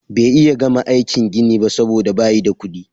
Bay iya gama aikin gini ba soboda bayi da kudi.